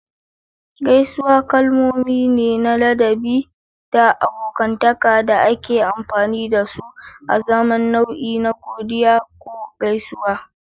Gaisuwa kalmomi ne na ladabi da abokantaka da ake amfani da su azaman nau'i na godiya ko gaisuwa.